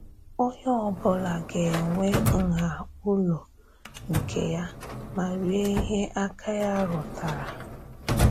Onye ọ̀bụ̀la gà-enwè ǹhà ụlọ nke ya mà rie íhè àká ya rụ̀tàrà.